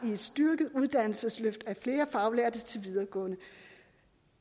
i et styrket uddannelsesløft af flere faglærte til et videregående